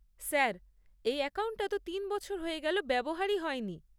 Sir, এই অ্যাকাউন্টটা তো তিন বছর হয়ে গেল ব্যবহারই হয়নি।